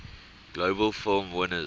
globe film winners